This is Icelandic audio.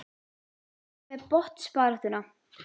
Hvað með botnbaráttuna?